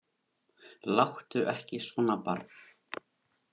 Láttu ekki svona barn.